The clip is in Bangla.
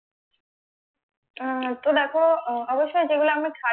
আহ তো দেখো অবশ্য যেগুলো আমরা